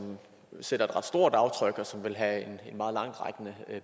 sætter et ret stort aftryk og som vil have en meget langtrækkende